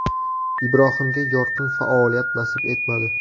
Ibrohimga yorqin faoliyat nasib etmadi.